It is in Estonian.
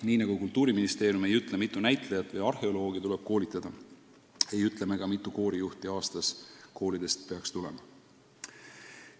" Nii nagu Kultuuriministeerium ei ütle, mitu näitlejat või arheoloogi tuleb koolitada, ei ütle me ka, mitu koorijuhti aastas koolidest peaks tulema.